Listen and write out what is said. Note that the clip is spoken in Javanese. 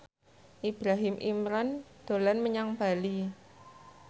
Ibrahim Imran dolan menyang Bali